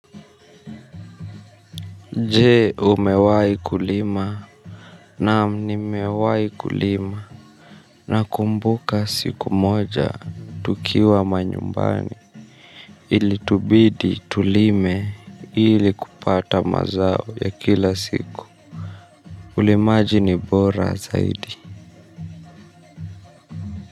Je, umewahi kulima? Naam, nimewahi kulima. Nakumbuka siku moja tukiwa manyumbani ilitubidi tulime ili kupata mazao ya kila siku. Ulimaji ni bora zaidi.